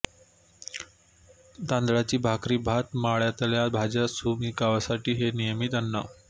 तांदळाची भाकरी भात मळ्यातल्या भाज्या सुकीमासळी हे नियमित अन्न